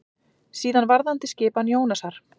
Síðan varðandi skipan Jónasar.